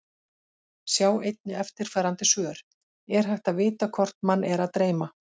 Sjá einnig eftirfarandi svör: Er hægt að vita hvort mann er að dreyma?